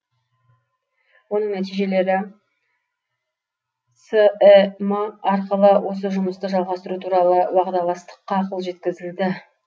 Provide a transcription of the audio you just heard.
оның нәтижелері сім арқылы осы жұмысты жалғастыру туралы уағдаластыққа қол жеткізілді